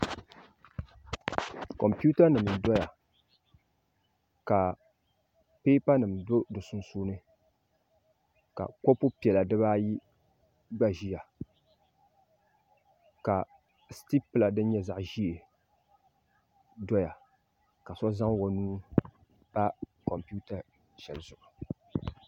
Kompitanima n-doya ka pipanima do di sunsuuni ka kɔpu piɛla diba ayi gba ʒiya ka sitipila din nyɛ zaɣ' ʒee doya ka so zaŋ o nuu pa kompita zuɣu